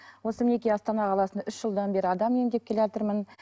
осы мінекей астана қаласында үш жылдан бері адам емдеп келатырмын